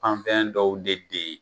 An fɛn dɔw de bɛ ye